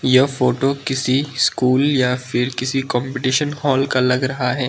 यह फोटो किसी स्कूल या फिर किसी कंपटीशन हॉल का लग रहा है।